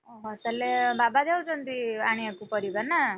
ଓହୋ ତାହେଲେ ବାବା ଯାଉଛନ୍ତି ଆଣିବାକୁ ପରିବା ନା?